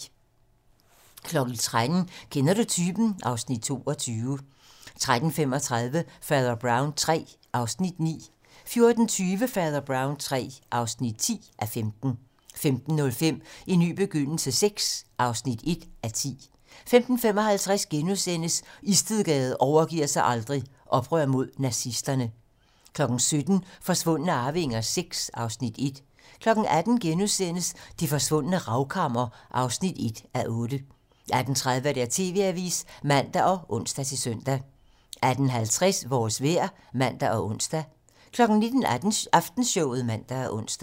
13:00: Kender du typen? (Afs. 22) 13:35: Fader Brown III (9:15) 14:20: Fader Brown III (10:15) 15:05: En ny begyndelse VI (1:10) 15:55: Istedgade overgiver sig aldrig - Oprør mod nazisterne * 17:00: Forsvundne arvinger VI (Afs. 1) 18:00: Det forsvundne ravkammer (1:8)* 18:30: TV-Avisen (man og ons-søn) 18:50: Vores vejr (man og ons) 19:00: Aftenshowet (man og ons)